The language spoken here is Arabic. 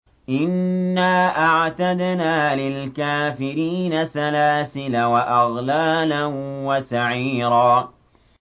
إِنَّا أَعْتَدْنَا لِلْكَافِرِينَ سَلَاسِلَ وَأَغْلَالًا وَسَعِيرًا